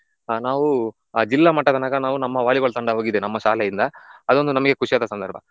ಆ ನಾವು ಆ ಜಿಲ್ಲಾ ಮಟ್ಟ ತನಕ ನಾವು ನಮ್ಮ Volleyball ತಂಡ ಹೋಗಿದೆ ನಮ್ಮ ಶಾಲೆಯಿಂದ ಅದೊಂದು ನಮ್ಗೆ ಖುಷಿಯಾದ ಸಂದರ್ಭ.